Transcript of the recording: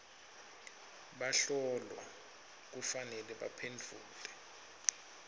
bahlolwa kufanele baphendvule